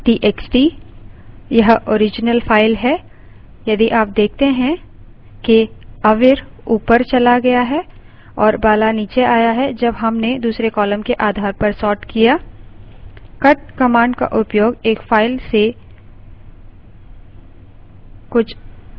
यह original file है यदि आप देखते हैं कि avir ऊपर bala गया और bala नीचे आ गया है जब हमने दूसरे column के आधार पर sorted किया